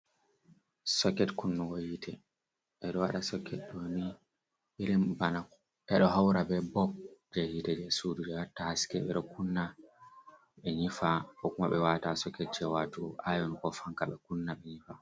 Soket kunnugo hite, ɓe ɗo waɗa soket ɗoni irin ɓana ɓe ɗo haura ɓe ɓoɓ je hite je suɗu je watta haske, ɓe kunna ɓe nyifa ko kuma ɓe wata soket jewatugo ayon ko fanka ɓe kunna ɓe nyifa.